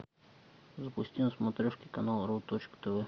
запусти на смотрешке канал ру точка тв